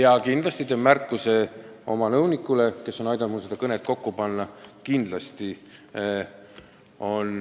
Kindlasti teen märkuse oma nõunikule, kes on aidanud mul seda kõnet kokku panna.